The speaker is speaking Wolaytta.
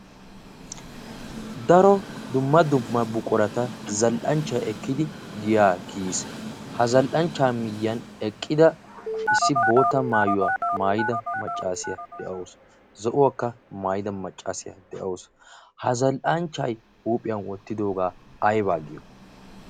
daro dumma dumma buqorata zal77anchchai ekkidi giya ekkiyiis. ha zal77anchcha miyyan eqqida issi boota maayuwaa maayida maccaasiyaa de7awusu zo7uwaakka maayida maccaasiyaa de7awusu. ha zal77anchchai huuphiyan wottidoogaa aibaa giyo?